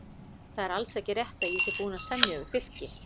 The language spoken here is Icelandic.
Það er alls ekki rétt að ég sé búinn að semja við Fylki.